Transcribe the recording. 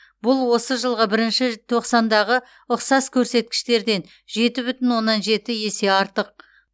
бұл осы жылғы бірінші тоқсандағы ұқсас көрсеткіштерден жеті бүтін оннан жеті есе артық